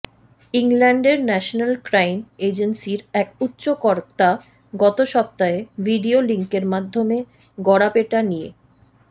ইংল্যান্ডের national crime এজেন্সির এক উচ্চ কর্তা গত সপ্তাহে ভিডিও লিঙ্কের মাধ্যমে গড়াপেটা নিয়ে